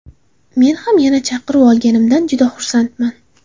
Men ham yana chaqiruv olganimdan juda xursandman.